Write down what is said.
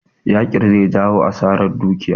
Yakin zai jawo asarar dukiya